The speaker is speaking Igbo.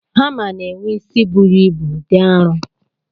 Hamá na-enwe isi buru ibu dị arọ.